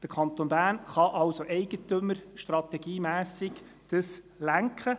Der Kanton Bern kann somit das Ganze im Sinne der Eigentümerstrategie lenken.